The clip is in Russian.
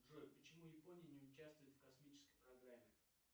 джой почему япония не участвует в космической программе